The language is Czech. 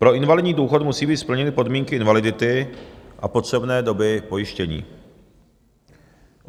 Pro invalidní důchod musí být splněny podmínky invalidity a potřebné doby pojištění.